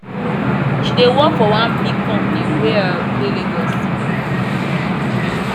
she dey work for one big company wey um dey lagos